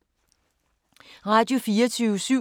Radio24syv